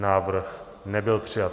Návrh nebyl přijat.